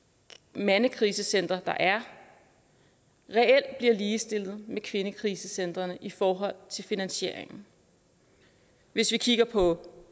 mandekrisecentre der er reelt bliver ligestillet med kvindekrisecentrene i forhold til finansieringen hvis vi kigger på